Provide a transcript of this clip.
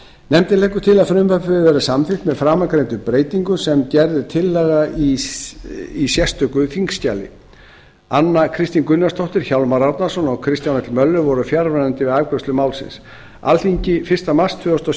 nefndin leggur til að frumvarpið verði samþykkt með framangreindum breytingum sem gerð er tillaga um í sérstöku þingskjali anna kristín gunnarsdóttir hjálmar árnason og kristján l möller voru fjarverandi við afgreiðslu málsins alþingi fyrsta mars tvö þúsund og